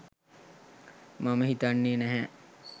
මම හිතන්නෙ නැහැ.